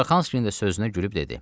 Suraxanskinin də sözünə gülüb dedi: